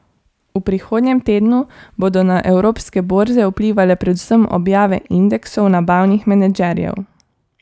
V prihodnjem tednu bodo na evropske borze vplivale predvsem objave indeksov nabavnih menedžerjev.